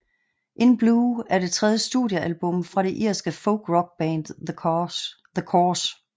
In Blue er det tredje studiealbum fra det irske folkrockband The Corrs